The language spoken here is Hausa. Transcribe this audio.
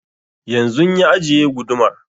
Yanzun ya ajiye gudumar